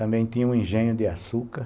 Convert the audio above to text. Também tinha um engenho de açúcar.